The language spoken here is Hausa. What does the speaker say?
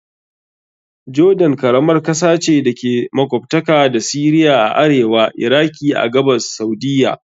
Jordan karamar kasa ce da ke makwabtaka da Syria a arewa, Iraki a gabas, Saudiyya..